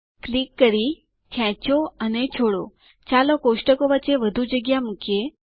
click કરી ખેચો અને છોડો ચાલો કોષ્ટકો વચ્ચે વધુ જગ્યા મુકીએ